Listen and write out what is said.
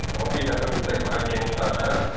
Amma bir dəfə mütləq daha geniş danışacağıq.